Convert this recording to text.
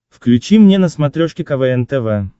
включи мне на смотрешке квн тв